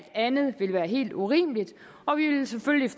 andet ville være helt urimeligt og vi vil selvfølgelig